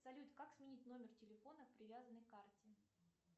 салют как сменить номер телефона привязанный к карте